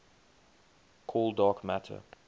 cold dark matter